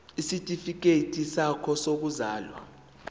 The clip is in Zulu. isitifikedi sakho sokuzalwa